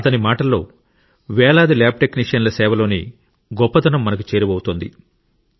కానీ అతని మాటల్లో వేలాది ల్యాబ్ టెక్నీషియన్ల సేవలోని గొప్పదనం మనకు చేరువవుతోంది